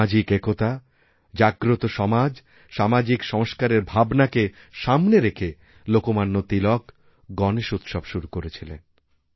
সামাজিক একতা জাগ্রত সমাজসামাজিক সংস্কারের ভাবনাকে সামনে রেখে লোকমান্য তিলক গণেশ উৎসব শুরু করেছিলেন